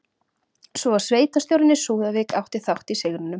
Svo að sveitarstjórinn í Súðavík átti þátt í sigrinum?